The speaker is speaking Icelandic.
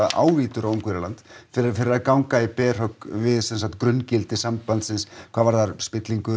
ávítur á Ungverjaland fyrir að ganga í berhögg við grunngildi sambandsins hvað varðar